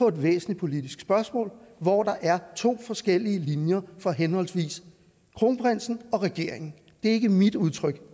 et væsentligt politisk spørgsmål hvor der er to forskellige linjer for henholdsvis kronprinsen og regeringen det er ikke mit udtryk